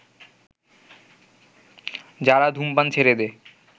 যারা ধূমপান ছেড়ে দেয়